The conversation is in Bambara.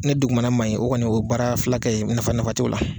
Ne dugumana maɲi o kɔni o ye baara filakɛ ye nafa nafa tɛ o la.